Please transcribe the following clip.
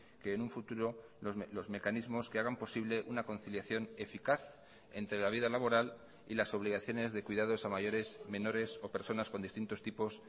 que en un futuro los mecanismos que hagan posible una conciliación eficaz entre la vida laboral y las obligaciones de cuidados a mayores menores o personas con distintos tipos